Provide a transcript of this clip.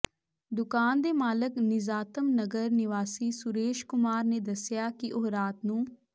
ਦੁਕਾਨ ਦੇ ਮਾਲਕ ਨਿਜ਼ਾਤਮ ਨਗਰ ਨਿਵਾਸੀ ਸੁਰੇਸ਼ ਕੁਮਾਰ ਨੇ ਦੱਸਿਆ ਕਿ ਉਹ ਰਾਤ ਨੂੰ